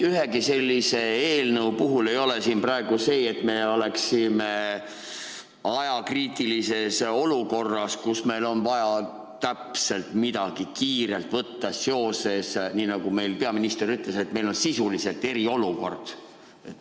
Ühegi sellise eelnõu puhul ei ole praegu seda, et me oleksime ajakriitilises olukorras, kus meil on vaja midagi kiirelt võtta seoses – nii nagu meil peaminister ütles, et meil on sisuliselt eriolukord.